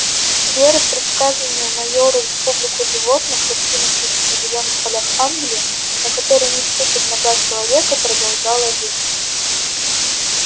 вера в предсказанную майером республику животных раскинувшуюся на зелёных полях англии на которые не ступит нога человека продолжала жить